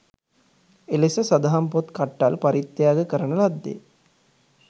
එලෙස සදහම් පොත් කට්ටල් පරිත්‍යාග කරන ලද්දේ